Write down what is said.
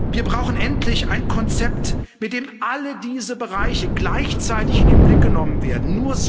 Wir brauchen endlich ein Konzept, mit dem alle diese Bereiche gleichzeitig in den Blick genommen werden.